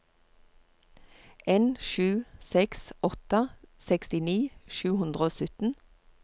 en sju seks åtte sekstini sju hundre og sytten